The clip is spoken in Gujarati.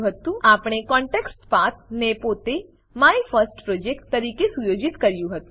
આપણે કોન્ટેક્સ્ટપાથ કોનટેક્સ્ટપાથ ને પોતે માયફર્સ્ટપ્રોજેક્ટ માયફર્સ્ટપ્રોજેક્ટ તરીકે સુયોજિત કર્યું હતું